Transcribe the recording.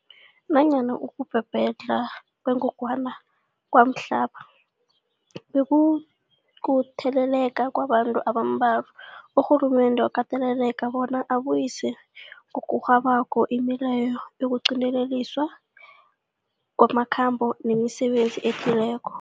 Nanyana ukubhebhedlha kwengogwana kwamhlapha bekukutheleleka kwabantu abambalwa, urhulumende wakateleleka bona abuyise ngokurhabako imileyo yokuqinteliswa kwamakhambo nemisebenzi ethileko.